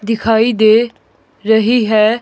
दिखाई दे रही है।